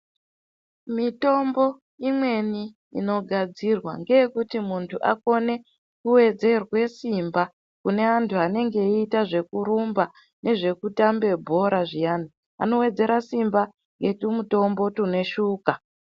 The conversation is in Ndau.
Mitombo imweni inogadzirwa ngeyekuti muntu akone kuwedzerwe simba Kune antu anenga eite zvekurumba Nezvekutambe bhora zviyani anowedzera simba ngetumutombo tune shuga.